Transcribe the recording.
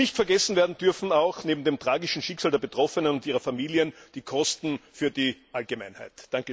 Nicht vergessen werden dürfen auch neben dem tragischen Schicksal der Betroffenen und ihren Familien die Kosten für die Allgemeinheit.